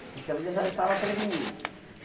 Então, ele já estava prevenido.